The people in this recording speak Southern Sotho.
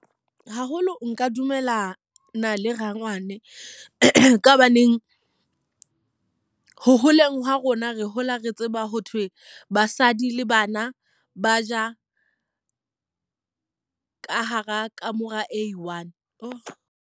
Haholo nka dumelana le rangwane. Ka hobaneng ho holeng ha rona re hola re tseba ho thwe basadi le bana ba ja ka hara kamora e i-one.